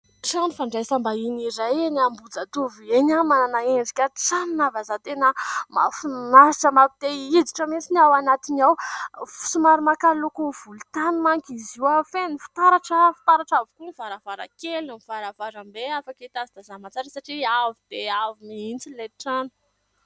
Trano fandraisam-bahiny iray eny Ambohijatovo eny ; manana endrika trano na vazaha tena mahafinaritra mampite hihiditra mintsiny ao anatiny ao. Somary maka loko volontany manko izy io feno fitaratra. Fitaratra avokoa ny varavarankeliny ny varavarambe afaka hitazatazanana tsara satria avo dia avo mihitsy ilay trano.